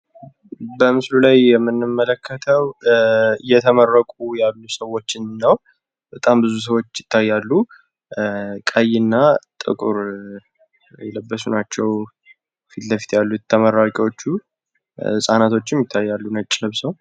በምስሉ ላይ የምንመለከተው እየተመረቁ ያሉ ሰዎችን ነው። በታም ብዙ ሰዎች ይታያሉ። ቀይና ጥቁር የለበሱ ናቸው ከፊት ለፊት የተቀመጡት ተመራቂዎች ። ህጻናቶችም ይታያሉ ነጭ ለብሰው።